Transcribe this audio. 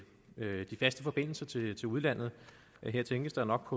de faste forbindelser til til udlandet her tænkes der nok